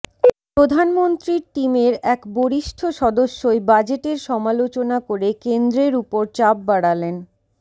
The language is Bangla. প্রধানমন্ত্রীর টিমের এক বরিষ্ঠ সদস্যই বাজেটের সমালোচনা করে কেন্দ্রের উপর চাপ বাড়ালেন